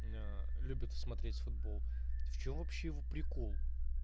аа любит смотреть футбол в чем вообще его прикол